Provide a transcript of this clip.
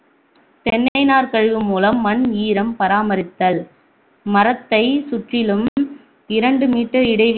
தென்னை நார்க்கழிவு முலம் மண் ஈரம் பராமரித்தல் மரத்தைச் சுற்றிலும் இரண்டு meter இடைவெள